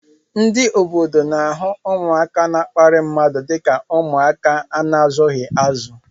Ndị obodo n'ahụ ụmụaka na-akparị mmadụ dịka ụmụaka a na-azughị azu